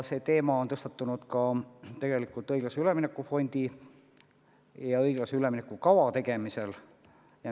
See teema on tõstatunud ka õiglase ülemineku fondi ja õiglase ülemineku kava tegemisel.